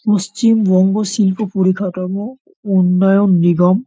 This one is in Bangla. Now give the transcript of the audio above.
পশ্চিমবঙ্গ শিল্প পরিকাঠামো উন্নয়ন নিগম।